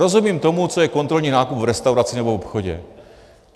Rozumím tomu, co je kontrolní nákup v restauraci nebo obchodě.